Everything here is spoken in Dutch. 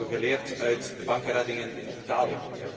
Dat hebben we geleerd uit de bankenreddingen in Italië.